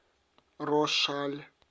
рошаль